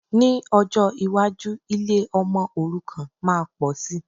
Ní ọjọ́ iwájú, ilé ọmọ òrukàn máa pòsi